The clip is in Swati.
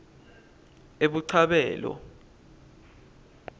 ebuchabelo